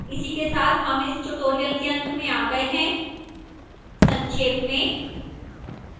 इसी के साथ हम इस tutorial के अंत में आ गए हैं संक्षेप में